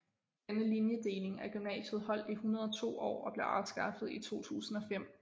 Denne linjedeling af gymnasiet holdt i 102 år og blev afskaffet i 2005